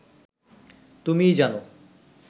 তুমিই জান